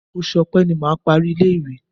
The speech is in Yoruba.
Oṣù Ọ̀pe ni mà á parí ilé-ìwé.